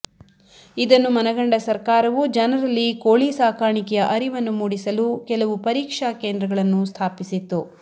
ಇದನ್ನು ಮನಗಂಡ ಸರ್ಕಾರವು ಜನರಲ್ಲಿ ಕೋಳಿ ಸಾಕಾಣಿಕೆಯ ಅರಿವನ್ನು ಮೂಡಿಸಲು ಕೆಲವು ಪರೀಕ್ಷಾ ಕೆಂದ್ರಗಳನ್ನು ಸ್ಥಾಪಿಸಿತ್ತು